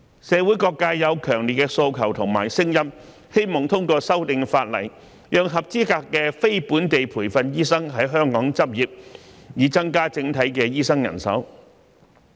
社會各界有強烈的訴求和聲音，希望通過修訂法例，讓合資格的非本地培訓醫生在香港執業，以增加整體的醫生人手。